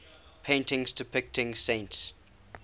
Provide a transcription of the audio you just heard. paintings depicting saints